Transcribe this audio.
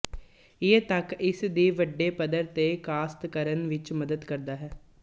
ਇਹ ਤਥ ਇਸ ਦੀ ਵੱਡੇ ਪੱਧਰ ਤੇ ਕਾਸ਼ਤ ਕਰਨ ਵਿੱਚ ਮਦਦ ਕਰਦਾ ਹੈ